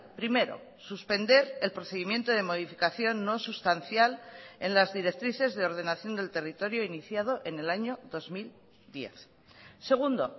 primero suspender el procedimiento de modificación no sustancial en las directrices de ordenación del territorio iniciado en el año dos mil diez segundo